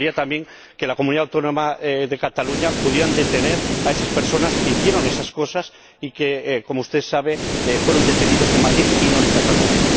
Me gustaría también que en la comunidad autónoma de Cataluña pudieran detener a esas personas que hicieron esas cosas y que, como usted sabe, fueron detenidos en Madrid y no en Cataluña.